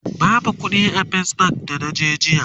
babu ƙuɗi a fes bank da naje jiya